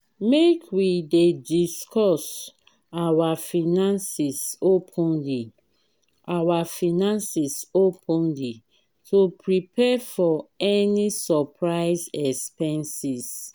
make we dey discuss our finances openly our finances openly to prepare for any surprise expenses.